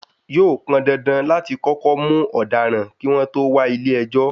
Yóò pọndandan láti kọ́kọ́ mú ọ̀daràn, kí wọ́n tó wà ilé ẹjọ́.